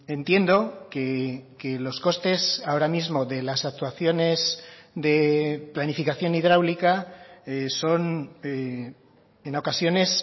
entiendo que los costes ahora mismo de las actuaciones de planificación hidráulica son en ocasiones